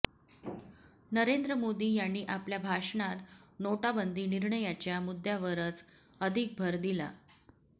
नरेंद्र मोदी यांनी आपल्या भाषणात नोटाबंदी निर्णयाच्या मुद्यावरच अधिक भर दिला